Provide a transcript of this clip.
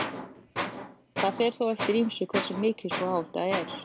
Það fer þó eftir ýmsu hversu mikil sú áhætta er.